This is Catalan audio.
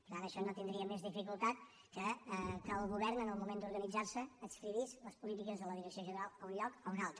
per tant això no tindria més dificultat que el govern en el moment d’organitzar se adscrivís les polítiques de la direcció general a un lloc o a un altre